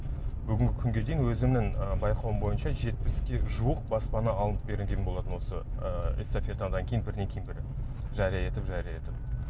бүгінгі күнге дейін өзімнің ыыы байқауым бойынша жетпіске жуық баспана алынып берілген болатын осы ыыы эстафетадан кейін бірінен бірі жария етіп жария етіп